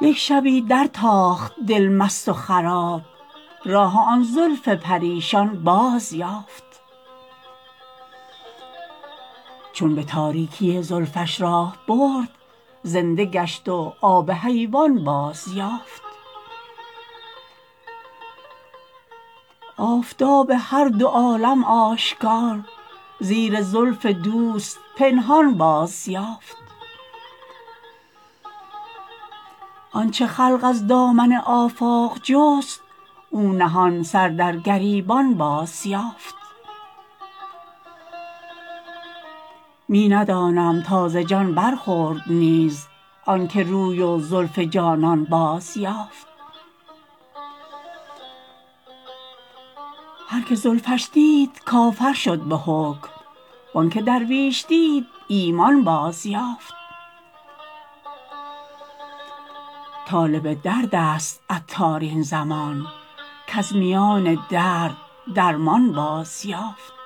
یک شبی درتاخت دل مست و خراب راه آن زلف پریشان بازیافت چون به تاریکی زلفش راه برد زنده گشت و آب حیوان بازیافت آفتاب هر دو عالم آشکار زیر زلف دوست پنهان بازیافت آنچه خلق از دامن آفاق جست او نهان سر در گریبان بازیافت می ندانم تا ز جان برخورد نیز آنکه روی و زلف جانان بازیافت هر که زلفش دید کافر شد به حکم وانکه رویش دید ایمان بازیافت طالب درد است عطار این زمان کز میان درد درمان بازیافت